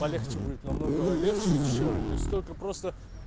полегче будет намного легче и дешевле то есть столько просто